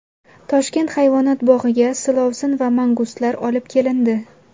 Toshkent hayvonot bog‘iga silovsin va mangustlar olib kelindi.